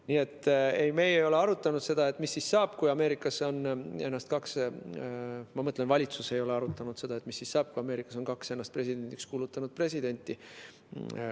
Nii et ei, me ei ole arutanud seda – ma mõtlen, valitsus ei ole arutanud seda –, mis siis saab, kui Ameerikas on kaks ennast presidendiks kuulutanud presidenti.